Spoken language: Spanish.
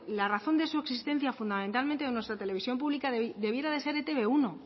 la razón de su existencia fundamentalmente de nuestra televisión pública debiera de ser etb uno